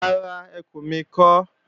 Rárá, ẹkù mi kọ́